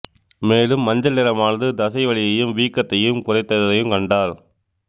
மேலும் மஞ்சள் நிறமானது தசை வலியையும் வீக்கத்தையும் குறைத்ததையும் கண்டார்